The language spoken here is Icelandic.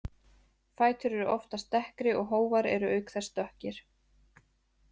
Fætur eru oftast dekkri og hófar eru auk þess dökkir.